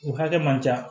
O hakɛ man ca